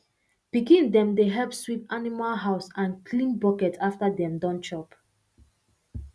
pikin dem dey help sweep animal house and clean bucket after dem don chop